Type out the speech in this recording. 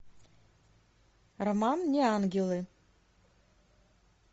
роман неангелы